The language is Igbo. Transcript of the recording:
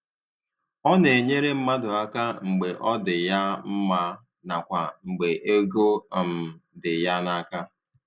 Ọ na - enyere mmadụ aka mgbe ọ dị ya mma nakwa mgbe ego um dị ya n'aka.